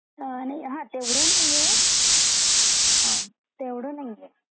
नाही हा तेवढा नाही आहे, तेवढा नाही आहे .